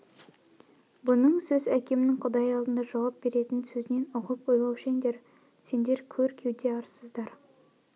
бұның сөз әкемнің құдай алдында жауап беретн сөзінен ұғып ойлаушеңдер сендер көр кеуде арсыздар